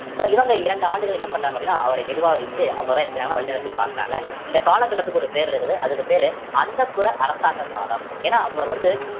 so இவங்க இரண்டு ஆண்டுகள் என்ன பண்றாங்க அப்படின்னா அவரை நிர்வாகிச்சு அவங்கதான் என்ன செய்யறாங்க வழிநடத்திப் பாக்கறாங்க இந்த காலகட்டத்துக்கு ஒரு பேர் இருக்குது அதுக்கு பேரு அந்தப்புற அரசாங்க காலம் ஏன்னா அவங்களை வந்து